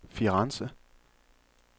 Firenze